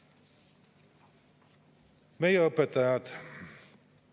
Samas, eelmise võeti vastu käibemaksu tõus, mis lööb rahakoti.